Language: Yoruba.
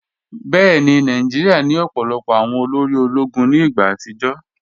Bẹẹni, Nàìjíríà ni ọ̀pọ̀lọpọ̀ awọn òlórí òló̩gún ní igba àtìjọ́.